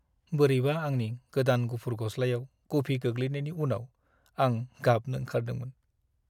बोरैबा आंनि गोदान गुफुर गस्लायाव कफि गोग्लैनायानि उनाव आं गाबनो ओंखारदोंमोन।